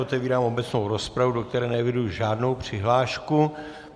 Otevírám obecnou rozpravu, do které neeviduji žádnou přihlášku.